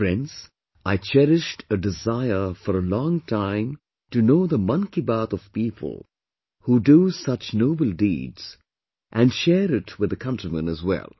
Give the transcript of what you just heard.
Friends, I cherished a desire for a long time to know the Mann Ki Baat of people who do such noble deeds and share it with the countrymen as well